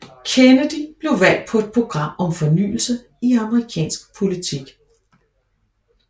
Kennedy blev valgt på et program om fornyelse i amerikansk politik